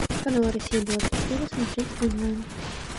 канал россия двадцать четыре смотреть онлайн